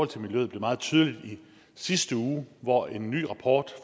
til miljøet blev meget tydeligt i sidste uge hvor en ny rapport